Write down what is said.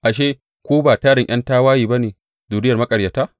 Ashe, ku ba tarin ’yan tawaye ba ne, zuriyar maƙaryata?